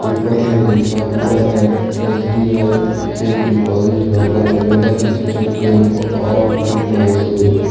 ऊपर में लिखा हुआ है SBI safe deposit lockers available State Bank of Mysore.